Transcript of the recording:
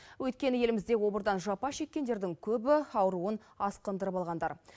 өйткені елімізде обырдан жапа шеккендердің көбі ауруын асқындырып алғандар